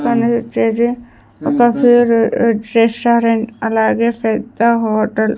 ఒక ఫేరు రెస్ రెస్టారెంట్ అలాగే ఫెద్ద హోటల్ .